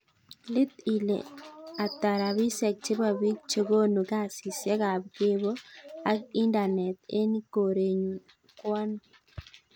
Iit ile atak rapisiek chebo pik chegonu kasisiek ab kebo ak indanet en korenyun ko anoo